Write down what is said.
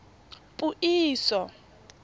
puiso